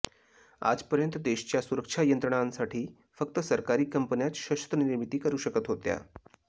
आजपर्यंत देशच्या सुरक्षा यंत्रणांसाठी फक्त सरकारी कंपन्याच शस्त्र निर्मिती करू शकत होत्या